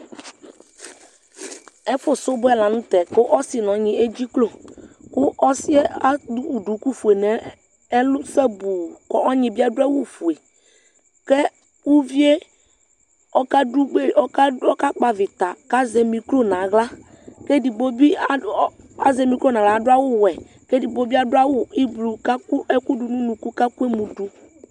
ɛfu subɔ lantɛ k'ɔse n'ɔnyi edziklo kò ɔsiɛ ewu duku fue n'ɛlu sabu k'ɔnyi bi ado awu fue k'uvie ɔka do gbe ɔka kpɔ avita k'azɛ mikro n'ala k'edigbo bi azɛ mikro n'ala ado awu wɛ k'edigbo bi ado awu ublɔ k'akɔ ɛkò do no unuku k'akɔ emu do